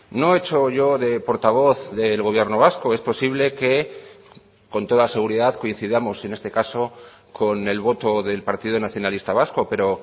no he hecho yo de portavoz del gobierno vasco es posible que con toda seguridad coincidamos en este caso con el voto del partido nacionalista vasco pero